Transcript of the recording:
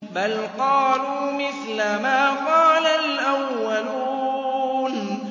بَلْ قَالُوا مِثْلَ مَا قَالَ الْأَوَّلُونَ